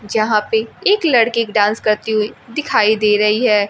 जहां पे एक लड़की एक डांस करती हुई दिखाई दे रही है।